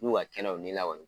N'u ka kɛnɛ u ni la kɔni.